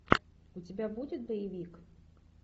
у тебя будет боевик